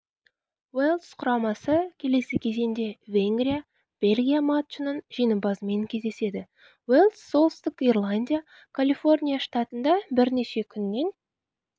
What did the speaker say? уэльс құрамасы келесі кезеңде венгрия бельгия матчының жеңімпазымен кездеседі уэльс солтүстік ирландия калифорния штатында бірнеше күннен